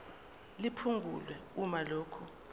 liphungulwe uma lokhu